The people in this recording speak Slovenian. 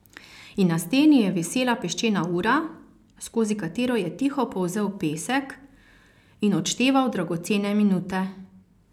In na steni je visela peščena ura, skozi katero je tiho polzel pesek in odšteval dragocene minute.